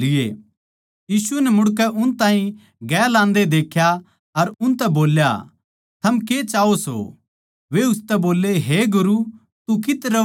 यीशु नै मुड़कै उन ताहीं गेल आन्दे देख्या अर उनतै बोल्या थम के चाह्वो सो वे उसतै बोल्ले हे गुरु तू कित्त रहवै सै